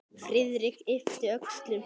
Friðrik yppti öxlum.